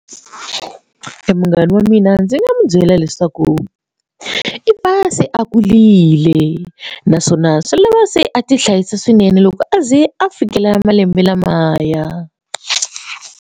Munghana wa mina ndzi nga n'wi byela leswaku i pasi a kurile naswona swi lava se a ti hlayisa swinene loko aze a fikela malembe lamaya.